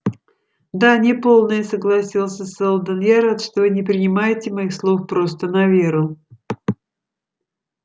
да неполная согласился сэлдон я рад что вы не принимаете моих слов просто на веру